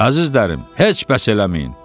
"Əzizlərim, heç bəs eləməyin.